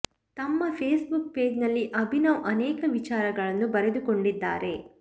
ತಮ್ಮ Facebook page ನಲ್ಲಿ ಅಭಿನವ್ ಅನೇಕ ವಿಚಾರಗಳನ್ನು ಬರೆದುಕೊಂಡಿದ್ದಾರೆ